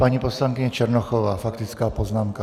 Paní poslankyně Černochová - faktická poznámka.